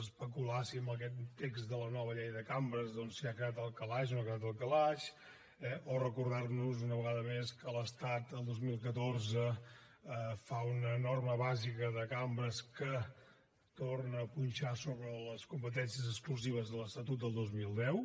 especular si aquest text de la nova llei de cambres doncs si ha quedat al calaix o no ha quedat al calaix eh o recordar nos una vegada més que l’estat el dos mil catorze fa una norma bàsica de cambres que torna a punxar sobre les competències exclusives de l’estatut del dos mil deu